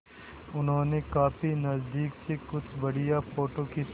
उन्होंने काफी नज़दीक से कुछ बढ़िया फ़ोटो खींचे